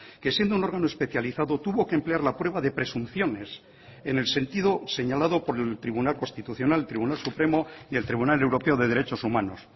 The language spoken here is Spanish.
que siendo un órgano especializado tuvo que emplear la prueba de presunciones en el sentido señalado por el tribunal constitucional tribunal supremo y el tribunal europeo de derechos humanos